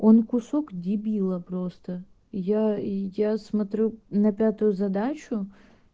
он кусок дебила просто я и я смотрю на пятую задачу